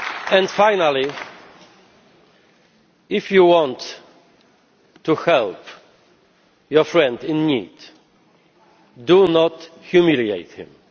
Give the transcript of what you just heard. And finally, if you want to help your friend in need, do not humiliate him.